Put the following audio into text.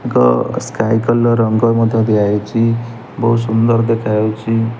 Sky colour ରଙ୍ଗ ମଧ୍ୟ ଦିଆହେଇଚି ବହୁତ ସୁନ୍ଦର ଦେଖାଯାଉଛି।